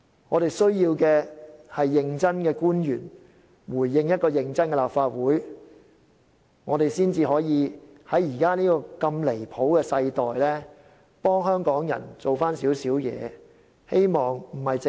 我們需要認真的官員回應一個認真的立法會，這樣才可以在現時如此離譜的世代，為香港人做少許事情。